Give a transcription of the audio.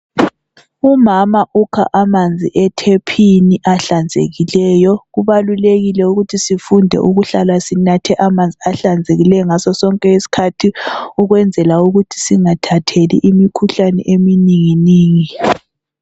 Umama ukha amanzi etephini ahlanzekileyo. Kubalulekile ukuthi sifunde ukuhlala sinathe amanzi ahlanzekileyo ngaso sonke isikhathi. ukwenzela ukuthi singathatheli imikhuhlane eminingi ningi.